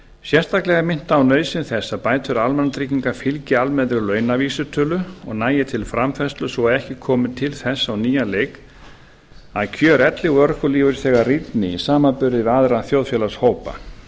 sérstaklega er minnt á nauðsyn þess að bætur almannatrygginga fylgi almennri launavísitölu og nægi til framfærslu svo að ekki komi til þess á nýjan leik að kjör elli og örorkulífeyrisþega rýrni í samanburði við aðra þjóðfélagshópa